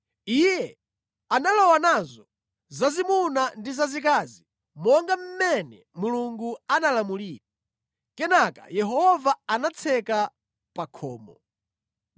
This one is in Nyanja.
Iye analowa nazo zazimuna ndi zazikazi monga mmene Mulungu anamulamulira. Kenaka Yehova anatseka pa khomo.